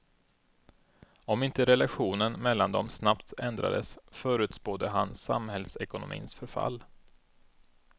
Om inte relationen mellan dem snabbt ändrades förutspådde han samhällsekonomins förfall.